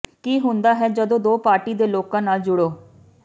ਕੀ ਹੁੰਦਾ ਹੈ ਜਦੋਂ ਦੋ ਪਾਰਟੀ ਦੇ ਲੋਕਾਂ ਨਾਲ ਜੁੜੋ